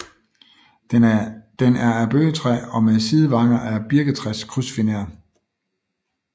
Den er af bøgetræ og med sidevanger af birketræskrydsfiner